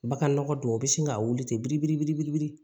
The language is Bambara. Bagan nɔgɔ dɔw bɛ sin ka wuli ten biri biri biribiri